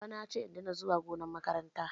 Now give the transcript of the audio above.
Babana ya ce in daina zuwa gonar makaranta